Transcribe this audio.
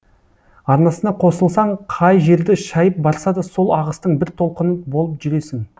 арнасына қосылсаң қай жерді шайып барса да сол ағыстың бір толқыны болып жүресің